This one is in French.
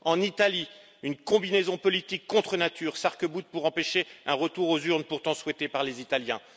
En Italie, une combinaison politique contre nature s'arc boute pour empêcher un retour aux urnes pourtant souhaité par les Italiens.